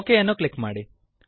okay ಅನ್ನು click ಮಾಡಿ